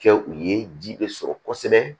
Kɛ u ye ji bɛ sɔrɔ kosɛbɛ